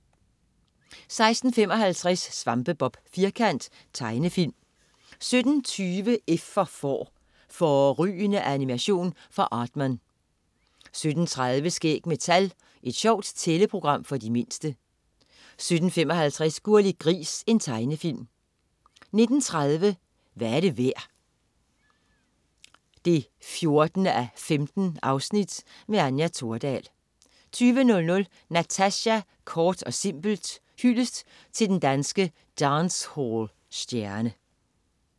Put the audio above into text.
16.55 Svampebob Firkant. Tegnefilm 17.20 F for Får. Fårrygende animation fra Aardman 17.30 Skæg med tal. Et sjovt tælleprogram for de mindste 17.55 Gurli Gris. Tegnefilm 19.30 Hvad er det værd? 14:15. Anja Thordal 20.00 Natasja, kort og simpelt. Hyldest til den danske dancehall-stjerne